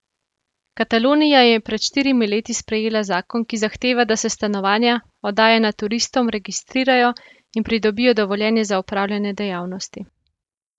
Katalonija je pred štirimi leti sprejela zakon, ki zahteva, da se stanovanja, oddajana turistom, registrirajo in pridobijo dovoljenje za opravljanje dejavnosti.